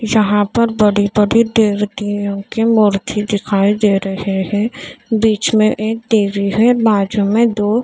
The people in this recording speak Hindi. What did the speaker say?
यहां पर बड़ी बड़ी की मूर्ति दिखाई दे रहे हैं बीच में एक टी_वी है बाजू में दो--